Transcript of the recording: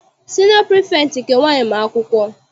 Siniọ pirifektị nke nwaanyị ma akwụkwọ.